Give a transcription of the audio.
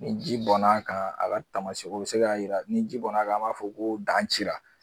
Ni ji bɔn'a kan a b'a taama o bi se ka jira ni ji bɔn'a an b'a fɔ ko dan cira.